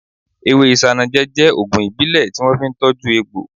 Ewé isanaje jẹ́ ògùn ìbílẹ̀ tí wọ́n fi ń tọju egbò